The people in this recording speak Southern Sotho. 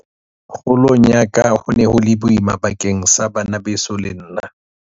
Kgolong ya ka ho ne ho le boima bakeng sa bana beso le nna.